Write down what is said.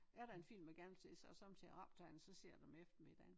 Er der en film man gerne vil se så har jeg sommetider optaget den så ser jeg den om eftermiddagen